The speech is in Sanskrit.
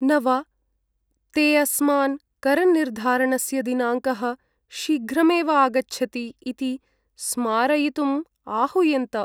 न वा! ते अस्मान् करनिर्धारणस्य दिनाङ्कः शीघ्रमेव आगच्छति इति स्मारयितुम् आहूयन्त।